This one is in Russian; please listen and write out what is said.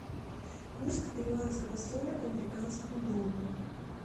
курс перуанского соля к американскому доллару